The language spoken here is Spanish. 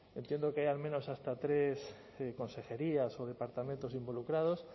entiendo que hay al menos hasta tres consejerías o departamentos involucrados